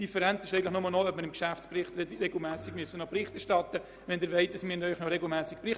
Die Differenz besteht lediglich darin, ob ich Ihnen regelmässig im Geschäftsbericht Bericht erstatten muss oder nicht.